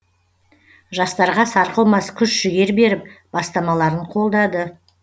жастарға сарқылмас күш жігер беріп бастамаларын қолдады